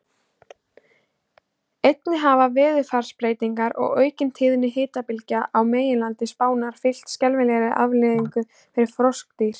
Einnig hafa veðurfarsbreytingar og aukin tíðni hitabylgja á meginlandi Spánar haft skelfilegar afleiðingar fyrir froskdýr.